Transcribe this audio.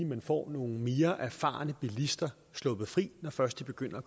man får nogle mere erfarne bilister sluppet fri når først de begynder at